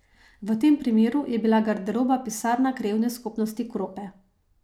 V tem primeru je bila garderoba pisarna Krajevne skupnosti Krope.